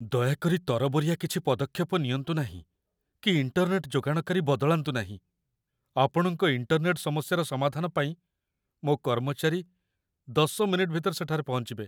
ଦୟାକରି ତରବରିଆ କିଛି ପଦକ୍ଷେପ ନିଅନ୍ତୁ ନାହିଁ କି ଇଣ୍ଟରନେଟ୍‌ ଯୋଗାଣକାରୀ ବଦଳାନ୍ତୁ ନାହିଁ, ଆପଣଙ୍କ ଇଣ୍ଟରନେଟ୍‌ ସମସ୍ୟାର ସମାଧାନ ପାଇଁ ମୋ କର୍ମଚାରୀ ୧୦ ମିନିଟ ଭିତରେ ସେଠାରେ ପହଞ୍ଚିବେ।